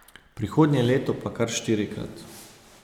Prihodnje leto pa kar štiri.